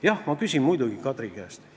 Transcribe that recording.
Jah, ma muidugi küsin Kadri käest.